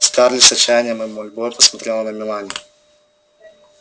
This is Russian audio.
скарлетт с отчаянием и мольбой посмотрела на мелани